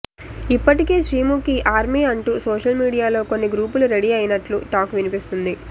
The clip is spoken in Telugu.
ఇప్పటికే శ్రీముఖి ఆర్మీ అంటూ సోషల్ మీడియాలో కొన్ని గ్రూపులు రెడీ అయినట్లు టాక్ వినిపిస్తుంది